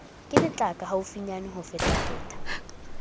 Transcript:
ke letlaka haufinyane ho fetafeta